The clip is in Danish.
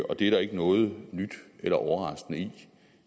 og det er der ikke noget nyt eller overraskende i